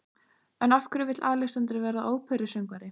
En af hverju vill Alexander verða óperusöngvari?